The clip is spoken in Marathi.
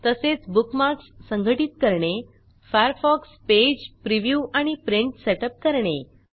तसेच बुकमार्कस संघटित करणे फायरफॉक्स पेज प्रिव्ह्यू आणि प्रिंट सेटअप करणे